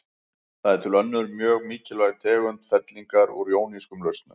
Það er til önnur og mjög þýðingarmikil tegund fellingar úr jónískum lausnum.